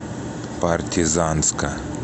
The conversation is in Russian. партизанска